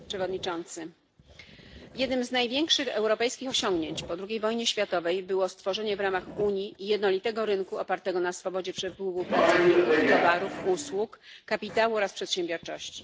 Panie Przewodniczący! Jednym z największych europejskich osiągnięć po II wojnie światowej było stworzenie w ramach Unii jednolitego rynku opartego na swobodzie przepływu pracowników, towarów, usług, kapitału oraz przedsiębiorczości.